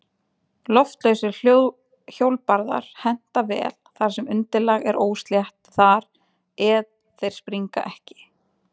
Loftlausir hjólbarðar henta vel þar sem undirlag er óslétt þar eð þeir springa ekki.